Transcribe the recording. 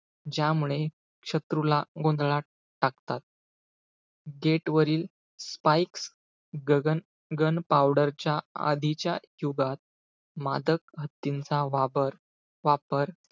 ज्यामुळे शत्रूला गोंधळात टाकतात. gate वरील spikes गगन~ gun powder च्या आधीच्या युगात, मादक हत्तिणींचा वापर-वापर,